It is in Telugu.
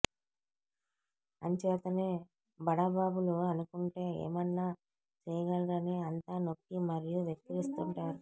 అంచేతనే బడాబాబులు అనుకుంటే ఏమన్నా చేయగలరని అంతా నొక్కి మరి వెక్కిరిస్తుంటారు